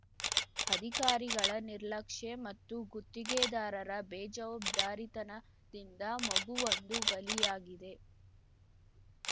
ಅಧಿಕಾರಿಗಳ ನಿರ್ಲಕ್ಷೇ ಮತ್ತು ಗುತ್ತಿಗೆದಾರರ ಬೇಜವಾಬ್ದಾರಿತನದಿಂದ ಮಗುವೊಂದು ಬಲಿಯಾಗಿದೆ